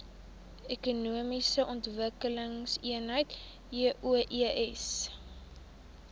ekonomiese ontwikkelingseenhede eoes